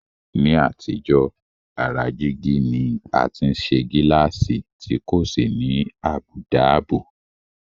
Ní àtijọ́, ara jígí ni a ti ń ṣe gíláàsì tí kò sì ní àbùdá ààbò